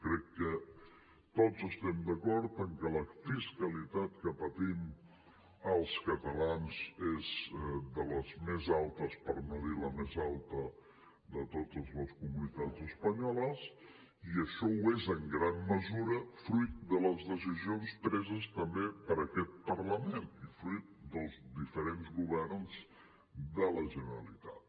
crec que tots estem d’acord en que la fiscalitat que patim els catalans és de les més altes per no dir la més alta de totes les comunitats espanyoles i això ho és en gran mesura fruit de les decisions preses també per aquest parlament i fruit dels diferents governs de la generalitat